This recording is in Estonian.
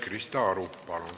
Krista Aru, palun!